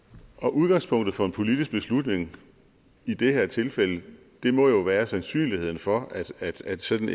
udgangspunktet for en politisk beslutning i det her tilfælde må jo være sandsynligheden for at sådan